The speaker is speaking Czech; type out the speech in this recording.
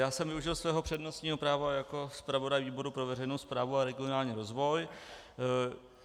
Já jsem využil svého přednostního práva jako zpravodaj výboru pro veřejnou správu a regionální rozvoj.